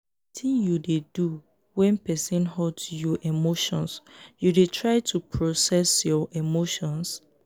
wetin you dey do when person hurt you emotions you dey try to process your emotions?